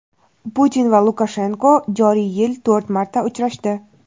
Putin va Lukashenko joriy yil to‘rt marta uchrashdi.